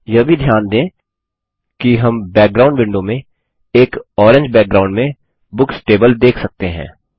यह भी ध्यान दें कि हम बैकग्राउंड विंडो में एक ऑरेंज बैकग्राउंड में बुक्स टेबल देख सकते हैं